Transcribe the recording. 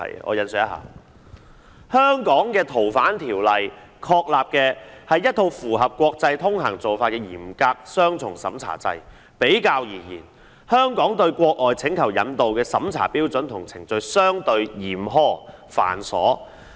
我引述一下："香港的《逃犯條例》確立的是一套符合國際通行做法的嚴格雙重審查制......比較而言，香港對外國請求引渡的審查標準和程序相對嚴苛、繁瑣......